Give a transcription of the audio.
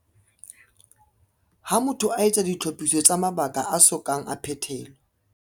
Ha motho a etsa ditlhophiso tsa mabaka a so kang a phethelwa.